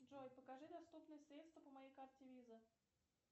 джой покажи доступные средства по моей карте виза